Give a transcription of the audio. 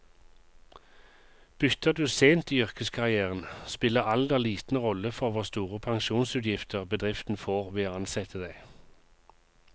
Bytter du sent i yrkeskarrieren, spiller alder liten rolle for hvor store pensjonsutgifter bedriften får ved å ansette deg.